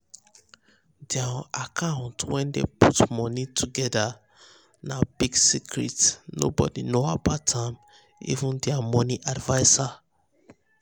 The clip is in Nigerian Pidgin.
dir account wey dem put money togedr na big secret nobody know about am even dir money adviser